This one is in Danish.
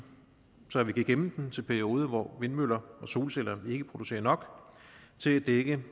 så vi kan gemme den til perioder hvor vindmøller og solceller ikke producerer nok til at dække